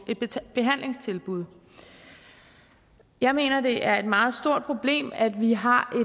et behandlingstilbud jeg mener det er et meget stort problem at vi har